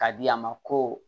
Ka di a ma ko